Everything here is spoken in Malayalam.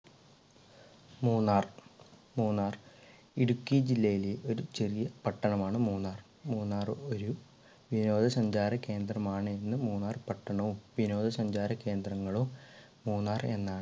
മൂന്നാർ. മൂന്നാർ ഇടുക്കി ജില്ലയിലെ ഒരു ചെറിയ പട്ടണമാണ് മൂന്നാർ. മൂന്നാർ ഒരു വിനോദസഞ്ചാര കേന്ദ്രമാണെന്ന് മൂന്നാർ പട്ടണവും വിനോദസഞ്ചാരകേന്ദ്രങ്ങളോ മൂന്നാർ എന്നാണ്